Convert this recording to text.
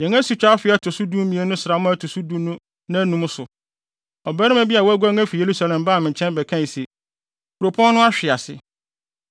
Yɛn asutwa afe a ɛto so dumien no sram a ɛto so du no nnaanum so, ɔbarima bi a waguan afi Yerusalem baa me nkyɛn bɛkae se, “Kuropɔn no ahwe ase!”